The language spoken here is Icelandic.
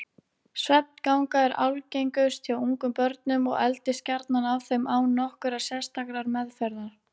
Svefnganga er algengust hjá ungum börnum og eldist gjarnan af þeim án nokkurrar sérstakrar meðferðar.